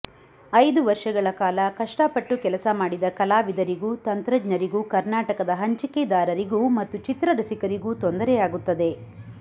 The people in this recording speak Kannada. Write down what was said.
ಐದು ವರ್ಷಗಳ ಕಾಲ ಕಷ್ಟಪಟ್ಟು ಕೆಲಸ ಮಾಡಿದ ಕಲಾವಿದರಿಗೂ ತಂತ್ರಜ್ಞರಿಗೂ ಕರ್ನಾಟಕದ ಹಂಚಿಕೆದಾರರಿಗೂ ಮತ್ತು ಚಿತ್ರರಸಿಕರಿಗೂ ತೊಂದರೆಯಾಗುತ್ತದೆ